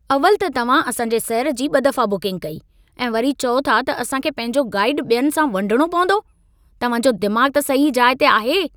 अवलि त तव्हां असां जे सैर जी ॿ दफ़ा बुकिंग कई, ऐं वरी चओ था त असां खे पंहिंजो गाइडु ॿियनि सां वंडणो पवंदो। तव्हां जो दिमाग़ु त सही जाइ ते आहे?